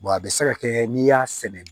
a bɛ se ka kɛ n'i y'a sɛnɛ